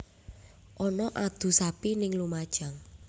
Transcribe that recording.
Ono adu sapi ning Lumajang